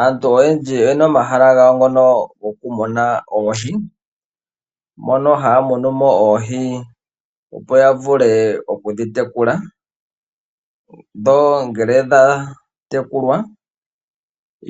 Aantu oyendji oye na omahala gawo ngono goku muna oohi, mono ha ya munu mo oohi opo ya vule oku dhi tekula. Ngele dha tekulwa